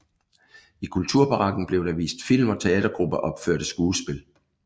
I kulturbarakken blev der vist film og teatergrupper opførte skuespil